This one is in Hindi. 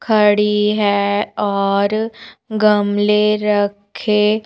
खड़ी है और गमले रखे--